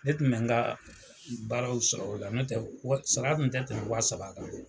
Ne tun mɛ n ka baaraw sɔrɔ o la, no tɛ sara kun tɛ tɛmɛ wa saba kan